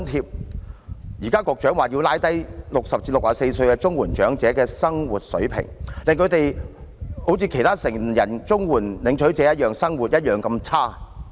局長現時表示要降低60歲至64歲綜援長者的生活水平，令他們與其他成人綜援領取者的生活一樣那麼差。